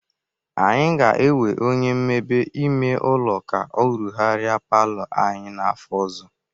Anyị ga-ewe onye mmebe ime ụlọ ka ọ rụgharịa palọ anyị n'afọ ọzọ.